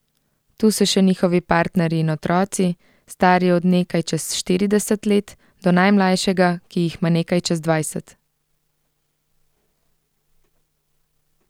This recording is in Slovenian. Tu so še njihovi partnerji in otroci, stari od nekaj čez štirideset let do najmlajšega, ki jih ima nekaj čez dvajset.